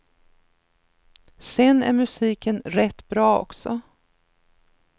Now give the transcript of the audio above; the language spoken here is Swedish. Sen är musiken rätt bra också.